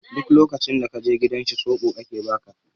Duk lokacin da ka je gidan shi soɓo ake ba ka.